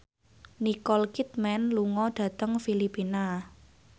Nicole Kidman lunga dhateng Filipina